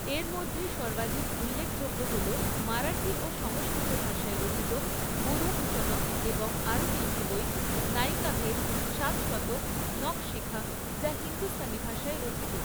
এর মধ্যে সর্বাধিক উল্লেখযোগ্য হল মারাঠি ও সংস্কৃত ভাষায় রচিত বুধভূষণম এবং আরও তিনটি বই, নায়িকাভেদ, সাতশতক, নখশিখা যা হিন্দুস্তানি ভাষায় রচিত।